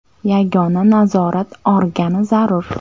Yagona nazorat organi zarur.